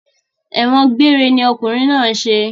Ẹ̀wọ̀n gbéére ni okùnrin náà ń ṣe